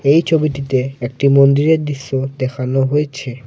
এই ছবিটিতে একটি মন্দিরের দৃশ্য দেখানো হয়েছে।